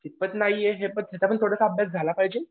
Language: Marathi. कितपत नाहीये हे पण याचा पण थोडासा अभ्यास झाला पाहिजे ना